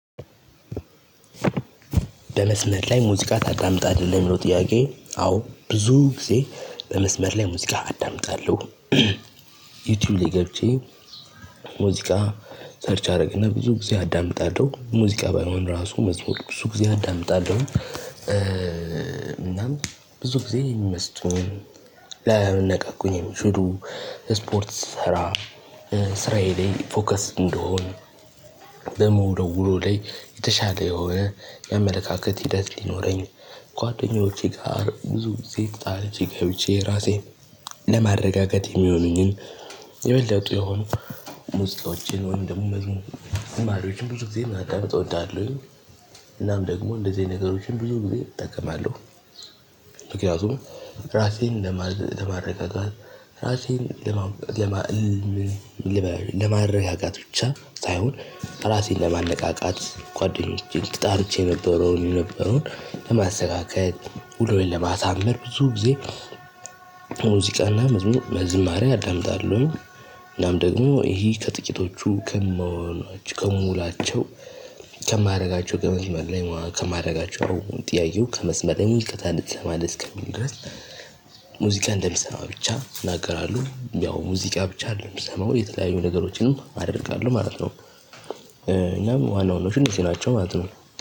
በመስመር ላይ ሙዚቃ ታዳምጣለህ ለሚለው ጥያቄ አዎ ብዙ ጊዜ በመስመር ላይ ሙዚቃ አዳምጣለሁ። ዩቲዩብ ላይ ገብቼ። ሙዚቃ ሰርች አደረግና ብዙ ጊዜ አዳምጣለሁ ሙዚቃ ባይሆን ራሱ መዝሙር ብዙ ጊዜ አዳምጣለሁ። እናም ብዙ ጊዜ የሚመስጡኝ ላይ ሊያነቃቁኝ የሚችሉ ስፖርት ስሰራ ስራዬ ላይ ፎከስ እንድሆን። በምውለው ውሎ ላይ የተሻለ የሆነ የአመለካከት ሂደት ሊኖረኝ። ጓደኞቼ ጋር ብዙ ግዜ ተጣልቼ ገብቼ ራሴን ለማረጋገት የሚሆኑኝን የበለጡ የሆኑ ሙዚቃዎችን ወይንም ደግሞ መዝሙር ዝማሬዎችን ብዙ ጊዜ ማቀመጥ እወዳለሁኝ። እናም ደግሞ እንደዚህ አይነት ነገሮችን ብዙ ጊዜ እጠቀማለሁ። ምክንያቱም ራሴን ለማረጋጋት ራሴን ለማ ለማረጋጋት ብቻ ሳይሆን ራሴን ለማነቃቃት ጓደኞቼን ተጣልቼ የነበረው የነበረውን ለማስተካከል ውሎዬን ለማሳመር ብዙ ጊዜ። ዝማሬ አዳምጣለሁኝ። እናም ደግሞ ይሄ ከጥቂቶቹ ከመሆናቸው ከምውላቸው ከማድረጋቸው ከመስመለር ላይ ከማድረጋቸው ጥያቄው ከመስመር ላይ ነው እንጂ ትሰማለህ እስከሚል ድረስ። ሙዚቃ እንደምሰማ ብቻ እናገራለሁ ያው ሙዚቃ ብቻ አይደለም እምሰማው የተለያዩ ነገሮችንም አደርጋለሁ ማለት ነው። እና ዋና ዋናዎቹ እነዚህ ናቸው ማለት ነው።